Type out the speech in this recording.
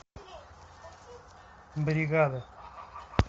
бригада